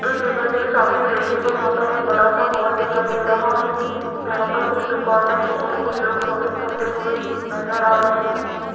इस इमेज में सामने देखिएगा यहां पर एक बड़ा सा मॉल दिखाई दे रहा है जहां पर कुछ दुकानें है और कुछ लोग शॉपिंग करते हुए नजर आ रहे हैं।